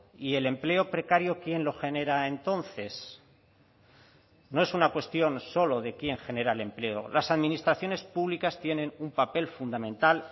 y el empleo precario quién lo genera entonces no es una cuestión solo de quién genera el empleo las administraciones públicas tienen un papel fundamental